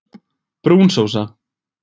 Brún sósa